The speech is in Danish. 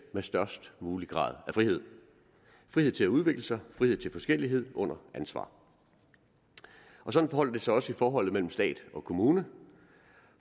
med størst mulig grad af frihed frihed til at udvikle sig frihed til forskellighed under ansvar sådan forholder det sig også i forholdet mellem stat og kommune